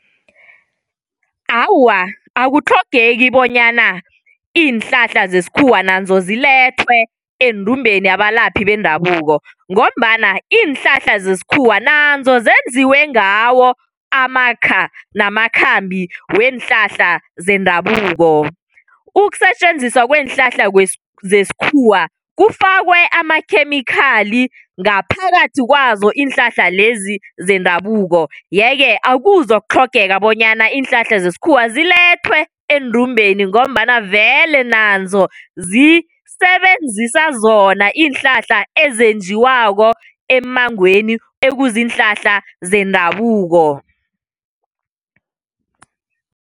Awa, akutlhogeki bonyana iinhlahla zesikhuwa nazo zilethwe endumbeni yabalaphi bendabuko ngombana iinhlahla zesikhuwa nazo zenziwe ngawo amakha namakhambi weenhlahla zendabuko. Ukusetjenziswa kweenhlahla zesikhuwa kufakwe amakhemikhali ngaphakathi kwazo iinhlahla lezi zendabuko yeke akuzokutlhogeka bonyana iinhlahla zesikhuwa zilethwe eendumbeni ngombana vele nanzo zisebenzisa zona iinhlahla ezenjiwako emmangweni ekuziinhlahla zendabuko.